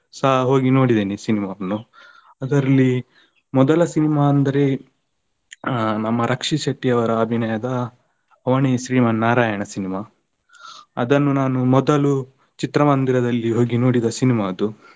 ಸ ಹೋಗಿ ನೋಡಿದ್ದೇನೆ cinema ವನ್ನು ಅದರ್ಲ್ಲಿ ಮೊದಲ cinema ಅಂದ್ರೆ ಆ ನಮ್ಮ ರಕ್ಷಿತ್ ಶೆಟ್ಟಿ ಅವರ ಅಭಿನಯದ ಅವನೇ ಶ್ರೀಮನ್ ನಾರಾಯಣ cinema , ಅದನ್ನು ನಾನು ಮೊದಲು ಚಿತ್ರಮಂದಿರದಲ್ಲಿ ಹೋಗಿ ನೋಡಿದ cinema ಅದು.